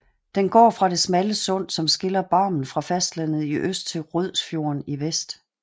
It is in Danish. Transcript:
Den går fra det smalle sund som skiller Barmen fra fastlandet i øst til Rødsfjorden i vest